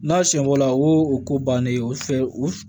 N'a siɲɛ fɔlɔ o ko bannen o fɛ o